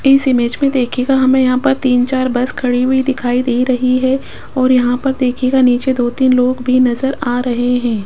इस इमेज में देखिएगा हमें यहां पर तीन चार बस खड़ी हुई दिखाई दे रही है और यहां पर देखिएगा नीचे दो तीन लोग भी नजर आ रहे है।